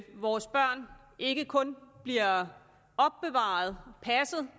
vores børn ikke kun bliver opbevaret og passet